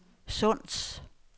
Sunds